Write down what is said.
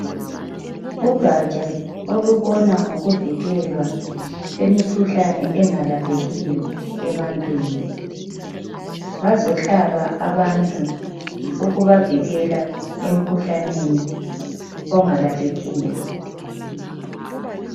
Ugaja olubona ngokuvikelwa kumikhuhlane engalaphekiyo ebantwini bazohlaba abantu ukubavikela emikhuhlaneni ongalaphekiyo.